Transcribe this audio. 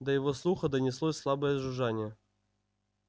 до его слуха донеслось слабое жужжание